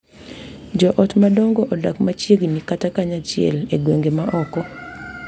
Jo ot madongo odak machiegni kata kanyachiel e gwenge ma oko.